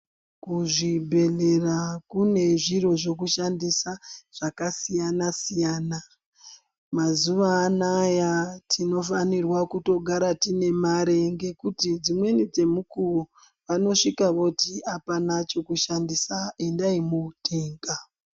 Kuzvibhedhlera kune zviro zvekushandisa zvakasiyana siyana mazuwa anaya tinofanirwa kutogara tine mare ngekuti dzimweni dzemukuwo anosvika voti apana chekushandisa endai motenga.